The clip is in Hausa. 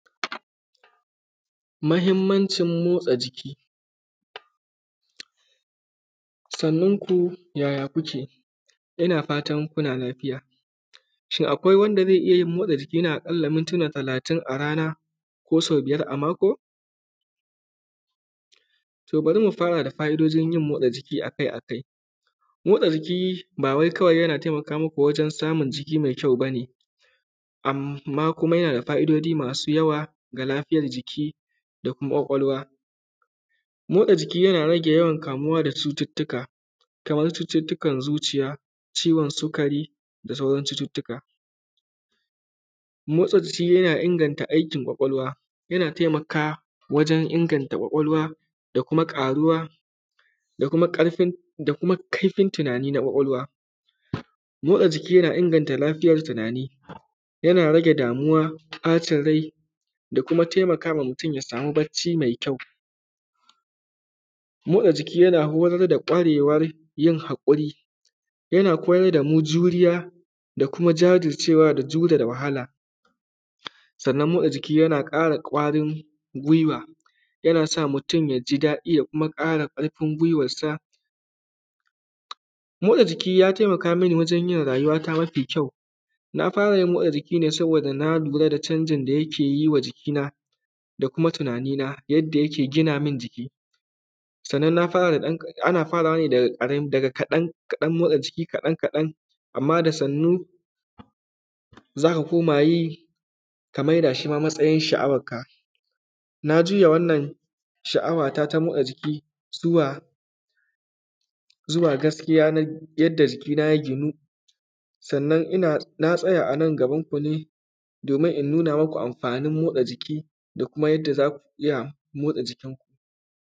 Mahimmancin motsa jiki. Sannunku, yaya kuke? Ina fatan kuna lafiya. Shin, akwai wanda ze iya yin motsa jiki na aƙalla mintina talatin a rana ko sau biyar a mako? To, bari mu fara da fa’idojin yin motsa jiki a kai a kai. Motsa jiki, ba wai kawai yana taimaka muku wajen samun jiki me kyau ba ne, amma kuma yana da fa’idodi masu yawa ga lafiyar jiki da kuma ƙwaƙwalwa. Motsa jiki yana rage yawan kamuwa da cututtuka, kamar cututtukan zuciya, ciwon sikari da sauran cututtuka. Motsa jiki yana inganta aikin ƙwaƙwalwa, yana taimaka wajen inganta ƙwaƙwalwa da kuma ƙaruwa, da kuma ƙarfin, da kuma kaifin tunani na ƙwaƙwalwa. Motsa jiki, yana inganta lafiyar tinani. Yana rage damuwa, ƃacin rai da kuma taimaka wa mutun ya samu bacci mai kyau. Motsa jiki, yana horar da ƙwarewar yin haƙuri, yana koyar da mu juriya da kuma jajircewa da judada wahala. Sannan, motsa jiki yana ƙara ƙwarin gwiwa, yana sa mutun ya ji daɗi ya kuma ƙara ƙarfin gwiwarsa. Motsa jiki, ya taimaka mini wajen yin rayuwata mafi kyau. Na fara yin motsa jiki ne saboda na lura da canjin da yake yi wa jikina da kuma tinanina, yadda yake gina min jiki. Sannan, na fara ɗan; ana faraway ne daga ƙarami; daga kaɗan, kaɗan motsa jiki kaɗan-kaɗan, amma da sannu za ka koma yi, ka mai da shi ma matsayish sha’awakka. Na juya wannan sha’awata ta motsa jiki zuwa; zuwa gaskiya na yadda jikina ya ginu. Sannan, ina; na tsaya a nan gabanku ne, domin in nuna muku amfanin motsa jiki da kuma yadda za ku iya motsa jikinku.